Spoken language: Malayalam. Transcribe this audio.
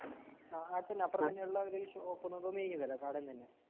അ അടുത്തന്നപ്പറതന്നെയുള്ളയൊരു ഷോപ്പ്ന്നെന്തോ നീങ്ങിതലെ കാടേന്ന്തന്നെ.